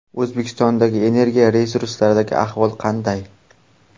O‘zbekistonda energiya resurslaridagi ahvol qanday?.